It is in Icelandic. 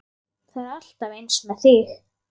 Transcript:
Það er alltaf eins með þig!